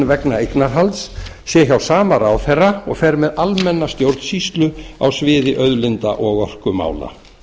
vegna eignarhalds sé hjá sama ráðherra og fer með almenna stjórnsýslu á sviði auðlinda og orkumála